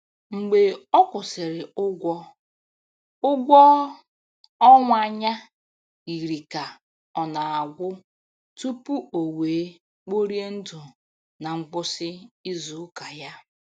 Mgbe ọ kwụsịrị ụgwọ, ụgwọ ọnwa ya yiri ka ọ na-agwụ tupu o wee kporie ndụ na ngwụsị izu ụka ya.